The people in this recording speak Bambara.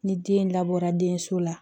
Ni den labɔra denso la